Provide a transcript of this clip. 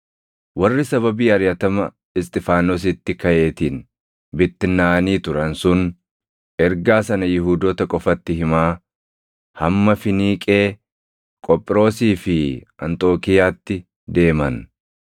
Warri sababii ariʼatama Isxifaanositti kaʼeetiin bittinnaaʼanii turan sun ergaa sana Yihuudoota qofatti himaa hamma Finiiqee, Qophiroosii fi Anxookiiyaatti deeman.